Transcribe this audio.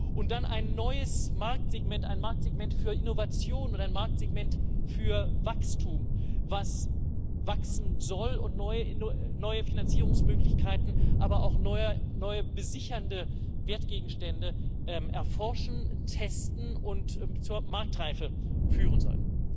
Und dann ein neues Marktsegment ein Marktsegment für Innovation, ein Marktsegment für Wachstum, das wachsen soll und neue Finanzierungsmöglichkeiten, aber auch neue besichernde Wertgegenstände erforschen, testen und zur Marktreife führen soll.